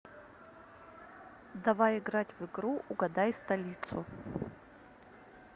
давай играть в игру угадай столицу